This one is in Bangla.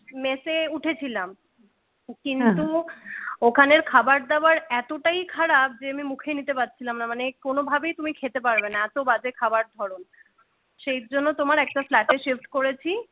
মেসে উঠেছিলাম, কিন্তু ওখানের খাবারদাবার এতটাই খারাপ যে আমি মুখে নিতে পারছিলাম না, মানে কোন ভাবেই তুমি খেতে পারবে না এত বাজে খাবার ধরন সেই জন্য তোমার একটা flat এ shift করেছি।